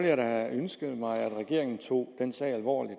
jeg da ønsket mig at regeringen tog den sag alvorligt